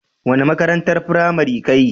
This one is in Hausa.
Wani makarantan firamari ka yi?